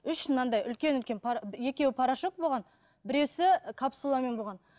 үш мынандай үлкен үлкен екеуі порошок болған біреуісі капсуламен болған